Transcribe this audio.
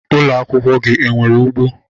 Ụlọ akwụkwọ gị enwere ugbo?